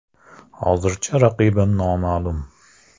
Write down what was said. Hozircha raqibim noma’lum.